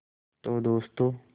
तो दोस्तों